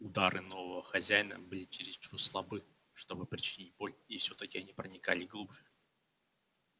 удары нового хозяина были чересчур слабы чтобы причинить боль и все таки они проникали глубже